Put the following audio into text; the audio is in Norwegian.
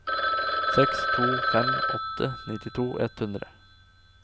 seks to fem åtte nittito ett hundre